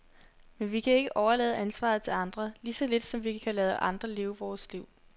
Men vi kan ikke overlade ansvaret til andre, lige så lidt som vi kan lade andre leve vort liv.